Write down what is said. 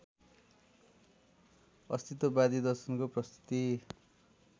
अस्तित्ववादी दर्शनको प्रस्तुति